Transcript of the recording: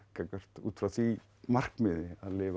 út frá því markmiði að lifa